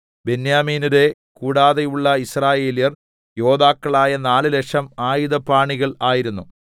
ബെന്യാമീന്യരെ കൂടാതെയുള്ള യിസ്രായേല്യർ യോദ്ധാക്കളായ നാല് ലക്ഷം ആയുധപാണികൾ ആയിരുന്നു